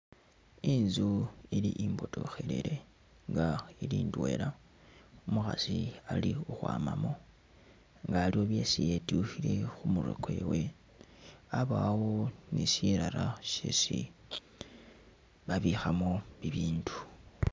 Intzu ili imbotokhelela nga ili indwela, umukhasi alikhukhwamamo nga aliwo byesi etyukhile khumurwe kwewe yabawo ni'sirara shesi babikhamo bibindu